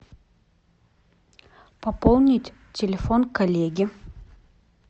пополнить телефон коллеги